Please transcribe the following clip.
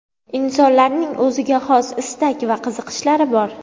Insonlarning o‘ziga xos istak va qiziqishlari bor.